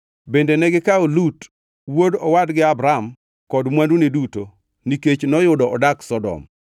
Bende negikawo Lut, wuod owadgi Abram kod mwandune duto nikech noyudo odak Sodom.